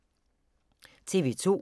TV 2